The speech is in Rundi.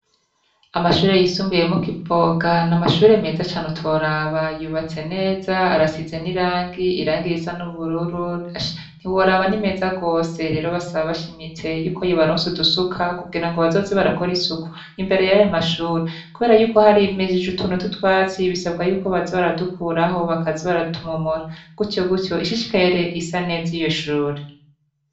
Amashure yisumbuiyemokiboga ni amashure meza cane utoraba yubatse neza arasize n'irangi irangiye isa n'ubururu ntiworaba n'imeza rwose rero basaba bashimitse yuko yibaronse udusuka kugira ngo bazoze barakora isuku imbere yayo mashuri, kubera yuko hari imejije utunu tutwatsi bisabwa yuko bazi baradukura aho bakazi baratumaumora gutyo gutyo ishishkaere isa neza iyo shure.